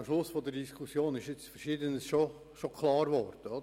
Am Schluss der Diskussion ist einiges klar geworden.